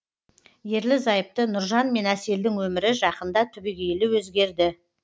ерлі зайыпты нұржан мен әселдің өмірі жақында түбегейлі өзгерді